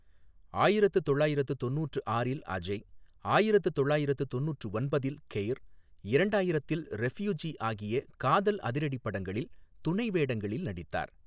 ஆயிரத்து தொள்ளாயிரத்து தொண்ணூற்று ஆறில் அஜய், ஆயிரத்து தொள்ளாயிரத்து தொண்ணூற்று ஒன்பதில் கெய்ர், இரண்டாயிரத்தில் ரெஃப்யூஜி ஆகிய காதல் அதிரடிப் படங்களில் துணை வேடங்களில் நடித்தார்.